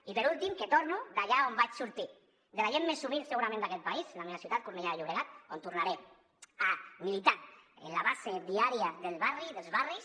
i per últim que torno allà d’on vaig sortir de la gent més humil segurament d’aquest país a la meva ciutat cornellà de llobregat on tornaré a militar en la base diària del barri dels barris